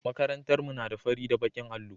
Makarantar mu na da fari da baƙin allo.